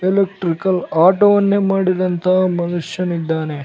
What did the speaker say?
Electrical ಆಟೋವನ್ನೇ ಮಾಡಿದಂತಹ ಮನುಷ್ಯನಿದ್ದಾನೆ .